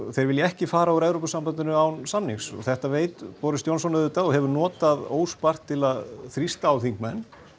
þeir vilja ekki fara úr Evrópusambandinu án samnings þetta veit Boris Johnson auðvitað og hefur notað óspart til að þrýsta á þingmenn